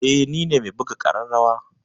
Eh nine me buga ƙararrawa.